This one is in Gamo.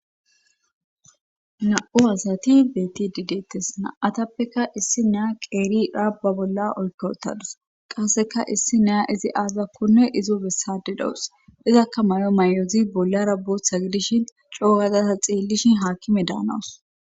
na7u asati beti dideettes na7atappeka issi neya qeeri rabba bolla oykootadus qasseka issi neya izi aazakkone izo bessade dawus izakka mayo may7ozi bollara bootha gidishin coogada ta xeellishin haakime daanawus